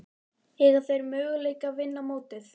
Eiga þeir möguleika á að vinna mótið?